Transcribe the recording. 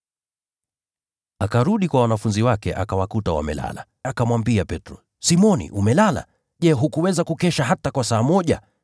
Akarudi kwa wanafunzi wake, akawakuta wamelala. Akamwambia Petro, “Simoni, umelala? Je, hukuweza kukesha hata kwa saa moja?